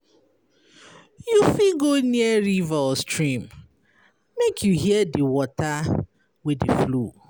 You fit go near river or stream, make you hear di water wey dey flow.